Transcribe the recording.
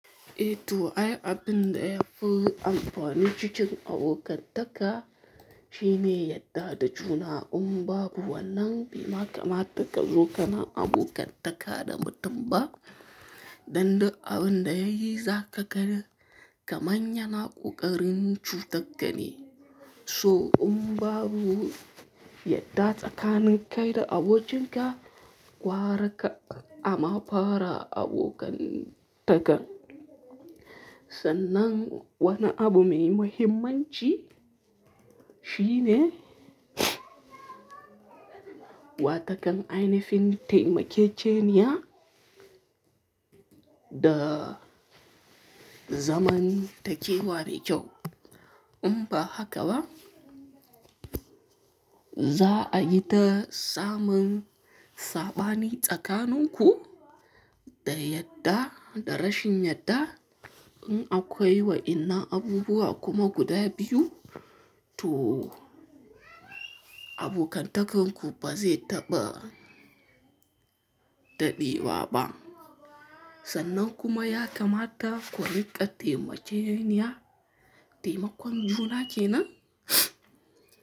Eh to, ai abin da yafi amfani cikin abokantaka shine yadda da juna. In babu wannan, bai kamata ka zo kana abokantaka da mutum ba. Dan duk abin da yayi za ka gani, kaman ya na ƙoƙarin cutak kane. So in babu yadda tsakanin kai da abokinka, gwara ka ama fara abokantakan. Sannan wani abu mai muhimmanci shine wa takan ainifin taimakekeniya da zamantakewa mai kyau. In ba haka ba, za a yi ta samun saɓani tsakanin ku da yadda da rashin yadda. In akwai wa ina abubuwa kuma guda biyu, to abokantakanku ba zai taɓa taɓewa ba. Sannan kuma ya kamata ku riƙa taimake-niya, taimakon juna kenan.